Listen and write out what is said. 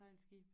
Sejlskibe